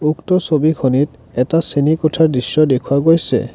উক্ত ছবিখনিত এটা শ্ৰেণীকোঠাৰ দৃশ্য দেখুওৱা গৈছে।